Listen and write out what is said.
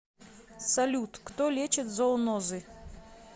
салют кто лечит зоонозы